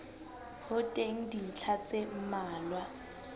ho teng dintlha tse mmalwa